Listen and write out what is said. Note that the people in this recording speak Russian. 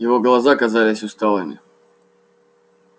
его глаза казались усталыми